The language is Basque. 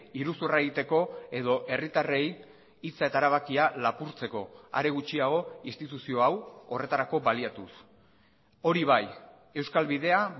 iruzurra egiteko edo herritarrei hitza eta erabakia lapurtzeko are gutxiago instituzio hau horretarako baliatuz hori bai euskal bidea